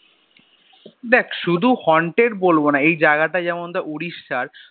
দেখ শুধু haunted বলবো না, এই জায়গা টা যেমন দেখ যেমন Odissa এর